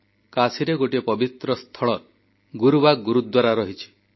କାଶୀରେ ଗୋଟିଏ ପବିତ୍ର ସ୍ଥଳ ଗୁରୁବାଗ୍ ଗୁରୁଦ୍ୱାରା ରହିଛି